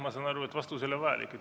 Ma saan aru, et vastus ei ole vajalik.